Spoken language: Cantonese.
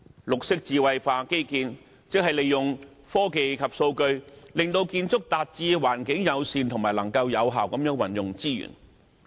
綠色智慧化基建，即利用科技及數據，令建築達致環境友善和能夠有效運用資源的目的。